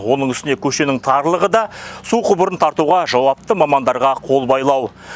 оның үстіне көшенің тарлығы су құбырын тартуға жауапты мамандарға қолбайлау